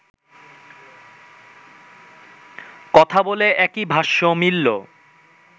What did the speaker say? কথা বলে একই ভাষ্য মিলল